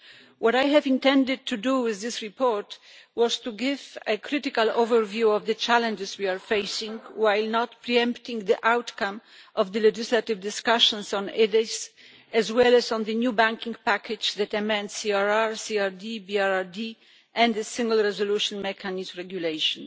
What I intended to do with this report was to give a critical overview of the challenges we are facing, while not pre empting the outcome of the legislative discussions on EDIS, as well as on the new banking package that amends CRR CRD, BRRD and the Single Resolution Mechanism regulation.